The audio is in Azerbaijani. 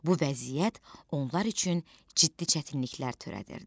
Bu vəziyyət onlar üçün ciddi çətinliklər törədirdi.